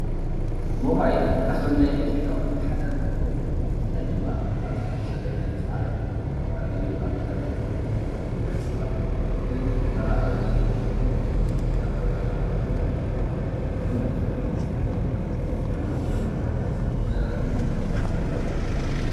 ሞባይል ካብቶም ናይ ኤሌትሪክ ኣቁሑ ሓደ እንትከውን ብፍላይ ድማ ኣብዚ ሕዚ ዘለናዩ ሰዓት ዝተፈላለዩ ኣካላት ወይ ከዓ ዝተላለዩ ደቂ ሰባት ንመራከቢ ይጥቀምሉ፡፡ ካብ ቦታ ናብ ቦታ ንምድውዋል፣ ንምዝንናይ ከምኡ እውን መልእክቲ ንምትሕልላፍ ሞባይል ይጥቀሙ እዩ፡፡